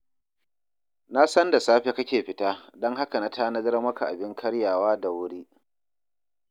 Na san da safe kake fita, don haka na tanadar maka abin karyawa da wuri